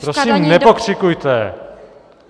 Prosím, nepokřikujte!